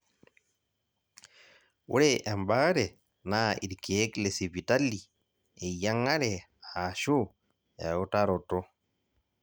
ore ebaare naa irkeek lesipitali, eyiang'are aashu eutaroto.